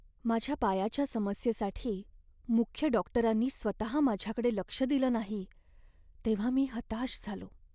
माझ्या पायाच्या समस्येसाठी मुख्य डॉक्टरांनी स्वतः माझ्याकडं लक्ष दिलं नाही तेव्हा मी हताश झालो.